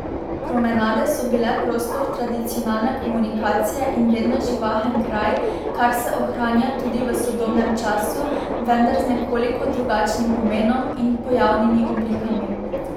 Promenade so bile prostor tradicionalne komunikacije in vedno živahen kraj, kar se ohranja tudi v sodobnem času, vendar z nekoliko drugačnim pomenom in pojavnimi oblikami.